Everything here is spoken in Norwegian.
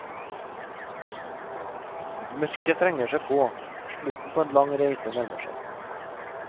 Mørket trenger seg på, slutten på en lang reise nærmer seg.